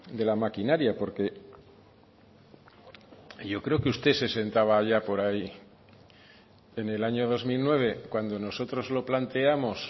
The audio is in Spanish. de la maquinaria porque yo creo que usted se sentaba allá por ahí en el año dos mil nueve cuando nosotros lo planteamos